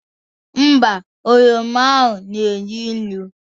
Ḿbà, oroma ahụ na-enu inu